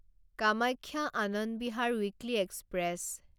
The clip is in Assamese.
Kamakhya Anand Vihar weekly express